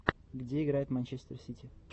где играет манчестер сити